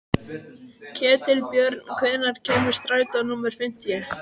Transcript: Ketilbjörn, hvenær kemur strætó númer fimmtíu?